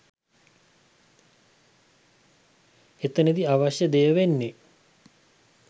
එතනදි අවශ්‍ය දෙය වෙන්නේ